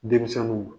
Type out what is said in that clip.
Denmisɛnninw